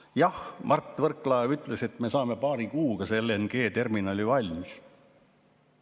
Jah, Mart Võrklaev ütles, et me saame paari kuuga selle LNG‑terminali valmis.